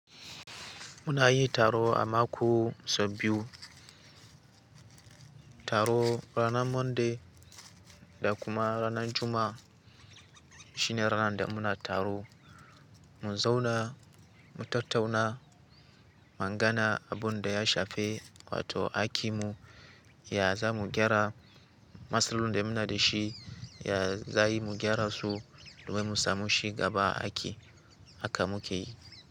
Muna yi taro a mako sau biyu. Taro ranar Monday da kuma ranar Juma'a shine ranar da muna taro. Mun zauna mu tattauna magana abunda ya shafe wato aiki mu ya za mu gyara. Masloli da muna da shi ya za mu gyara su domin mu samu shiga ba aiki aka muke yi.